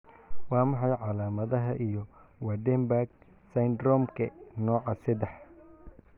Waa maxay calaamadaha iyo calaamadaha Waardenburg syndromke nooca sedax?